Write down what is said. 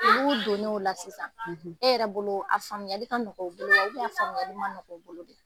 Olu donnen o la sisan . E yɛrɛ bolo a faamuyali ka gɛlɛn u bolo wa ? faamuyayali ka nɔgɔ u bolo?